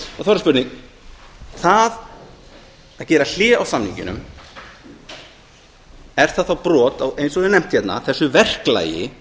er það spurning það að gera hlé á samningnum er það þá brot á eins og hefur verið nefnt hérna þessu verklagi